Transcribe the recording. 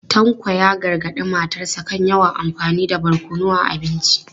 Tanko ya gargadi matarsa ​​kan yawan amfani da barkono a abinci.